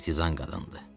Kurtizan qadındı.